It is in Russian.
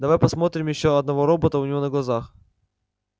давай посмотрим ещё одного робота у него на глазах